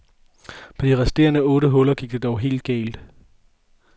På de resterende otte huller gik det dog helt galt.